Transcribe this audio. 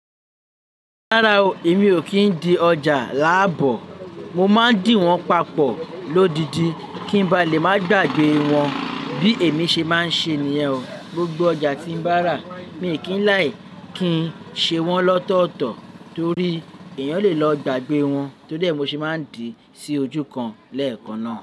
Rárá o, èmi ò kí ń di ọjà láàbò. Mo máa ń dì wọ́n papọ̀ lódidi kí ń bá lè máa gbàgbé wọ́n bí èmi ṣe máa ń ṣe nìyẹn o. Gbogbo ọjà tí mo bá rà, mi ò kí ń láì kí ṣe wọ́n lọ́tọ̀ọ̀tọ̀ torí èèyàn lè lọ gbàgbé wọ́n. Tó dé mo sì máa ń dì sí ojú kan lẹ́ẹ̀kan náà.